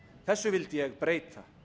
þessu vildi ég breyta